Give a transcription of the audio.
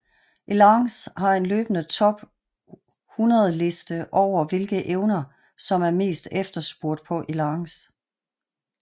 Elance har en løbende top 100 liste over hvilke evner som er mest efterspurgt på Elance